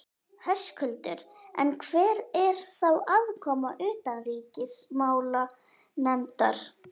Höskuldur: En hver er þá aðkoma utanríkismálanefndar?